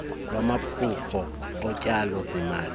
lwamaphulo otyalo zimali